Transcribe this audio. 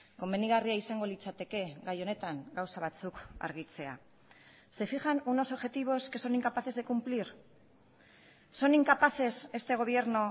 komenigarria izango litzateke gai honetan gauza batzuk argitzea se fijan unos objetivos que son incapaces de cumplir son incapaces este gobierno